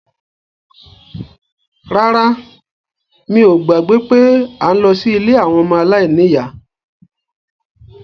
Rárá, mi ò gbàgbé pé à ń lọ sí ilé àwọn ọmọ aláìníyá